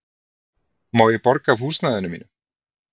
Má ég borga af húsnæðinu mínu?